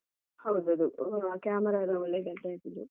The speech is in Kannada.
ಹೌದದು camera ಎಲ್ಲ ಒಳ್ಳೇದ್ ಇದು.